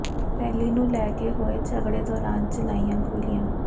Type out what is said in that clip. ਪੈਲੀ ਨੂੰ ਲੈ ਕੇ ਹੋਏ ਝਗੜੇ ਦੌਰਾਨ ਚਲਾਈਆਂ ਗੋਲੀਆਂ